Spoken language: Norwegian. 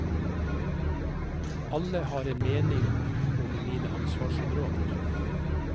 Alle har en mening om mine ansvarsområder.